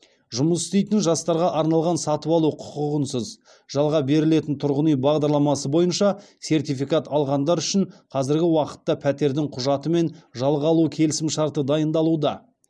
жұмыс істейтін жастарға арналған сатып алу құқығынсыз жалға берілетін тұрғын үй бағдарламасы бойынша сертификат алғандар үшін қазіргі уақытта пәтердің құжаты мен жалға алу келісімшарты дайындалуда